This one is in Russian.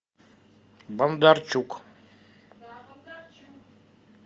бондарчук